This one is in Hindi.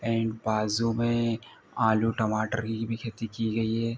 एंड बाजु में आलू टमाटर की भी खेती की गयी है।